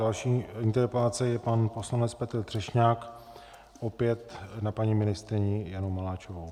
Další interpelace je pan poslanec Petr Třešňák opět na paní ministryni Janu Maláčovou.